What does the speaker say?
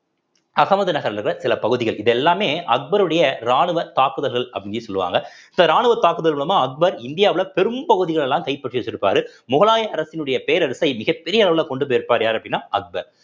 அகமது நகர்ல தான் சில பகுதிகள் இது எல்லாமே அக்பருடைய ராணுவ தாக்குதல்கள் அப்படின்னே சொல்லுவாங்க so ராணுவ தாக்குதல் மூலமா அக்பர் இந்தியாவுல பெரும் பகுதிகளை எல்லாம் கைப்பற்றி வச்சிருப்பாரு முகலாய அரசினுடைய பேரரசை மிகப்பெரிய அளவுல கொண்டு போயிருப்பாரு யாரு அப்படின்னா அக்பர்